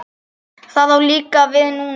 Það á líka við núna.